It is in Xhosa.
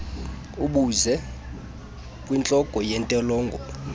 abuze kwintloko yentolongo